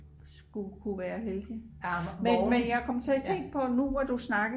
sku ku være heldig men jeg kom sådan til at tænke på nu hvor du snakker